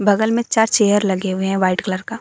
बगल में चार चेयर लगे हुए हैं व्हाइट कलर का।